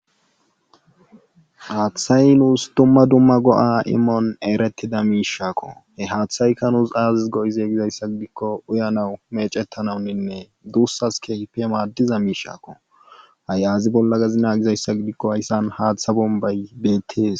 Haathay nuus dumma dumma go7a imon erettida miishako he haathayka nuus aazis gi7ide gizayssa gidikko uyanaw meecettanawninne duussas keehippe maaddiza miishako ha yagiza bolla naagizayssa gidikko haysan haatha bombbay beettees.